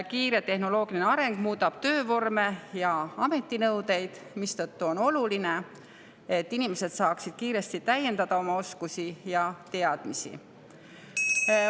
Kiire tehnoloogiline areng muudab töövorme ja ametinõudeid, mistõttu on oluline, et inimesed saaksid oma oskusi ja teadmisi kiiresti täiendada.